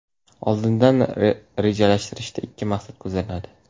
Oldindan rejalashtirishda ikki maqsad ko‘zlanadi.